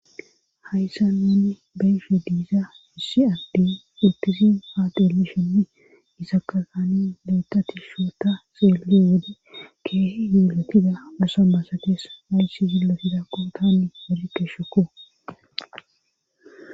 Hayssa nenni beyfe diiza issi adde ittisin faaxeeli shinni gisakasani leetatishoota seele wode keehe yilotida asa masakees haysi zillotidakko taani galikeshukko.